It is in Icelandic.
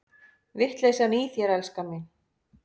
Vitleysan í þér, elskan mín!